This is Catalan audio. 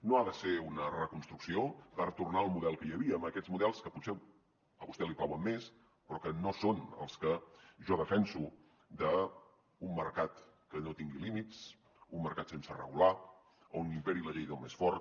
no ha de ser una reconstrucció per tornar al model que hi havia amb aquests models que potser a vostè li plauen més però que no són els que jo defenso d’un mercat que no tingui límits un mercat sense regular on imperi la llei del més fort